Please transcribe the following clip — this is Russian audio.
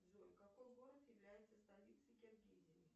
джой какой город является столицей киргизии